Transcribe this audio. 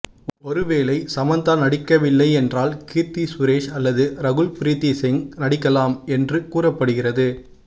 ஒருவேளை சமந்தா நடிக்கவில்லை என்றால் கீர்த்தி சுரேஷ் அல்லது ரகுல் ப்ரித்திசிங் நடிக்கலாம் என்று கூறப்படுகிறது